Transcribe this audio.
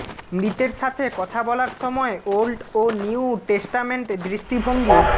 মৃতের সাথে কথা বলার সময় ওল্ড ও নিউ টেস্টামেন্ট দৃষ্টিভঙ্গি